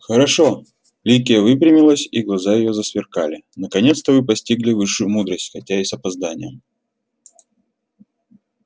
хорошо ликия выпрямилась и глаза её засверкали наконец-то вы постигли высшую мудрость хотя и с опозданием